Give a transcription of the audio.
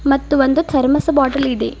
ಮತ್ತು ಒಂದು thermos bottle ಇಡಿ.